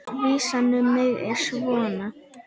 Vísan um mig er svona